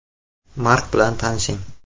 Mark bilan tanishing.